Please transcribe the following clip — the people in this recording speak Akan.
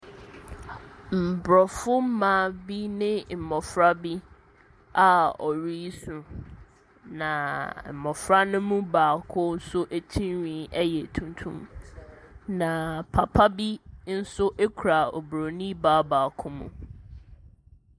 Aborɔfo mmaa bi ne mmɔfra bi a wɔresu, na mmɔfra no mu baako nso tirinwi yɛ tuntum, na papa bi nso kura oburoni baa baako mu.